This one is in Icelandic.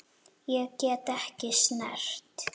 Ég get ekki snert.